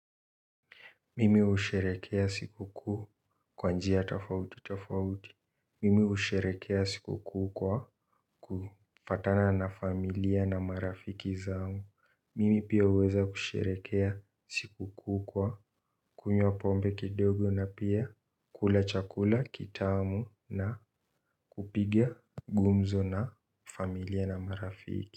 Mimi usherekea siku kuu kwanjia tofauti tofauti. Mimi usherekea siku kuu kwa kufatana na familia na marafiki zao. Mimi pia uweza kusherekea siku kuhu kwa kunywa pombe kidogo na pia kula chakula kitamu na kupiga gumzo na familia na marafiki.